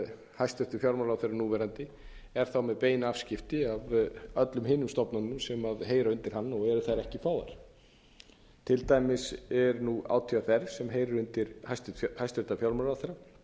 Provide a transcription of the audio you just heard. hæstvirtur fjármálaráðherra núverandi er þá með bein afskipti af öllum hinum stofnununum sem heyra undir hann og eru þær ekki fáar til dæmis er átvr sem heyrir undir hæstvirtur fjármálaráðherra